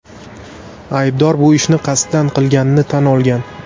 Aybdor bu ishni qasddan qilganini tan olgan.